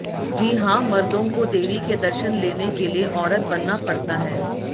जी हां मर्दों को देवी के दर्शन लेने के लिए औरत बनना पड़ता है